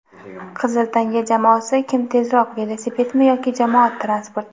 "Qizil tanga" jamoasi "Kim tezroq: velosipedmi yoki jamoat transporti?"